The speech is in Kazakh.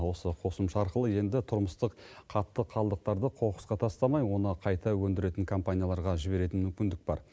осы қосымша арқылы енді тұрмыстық қатты қалдықтарды қоқысқа тастамай оны қайта өндіретін компанияларға жіберетін мүмкіндік бар